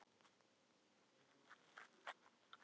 Berghildur Erla: Er mikið um þetta?